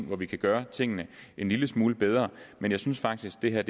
hvor vi kan gøre tingene en lille smule bedre men jeg synes faktisk det her